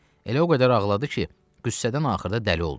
Elə o qədər ağladı ki, qüssədən axırda dəli oldu.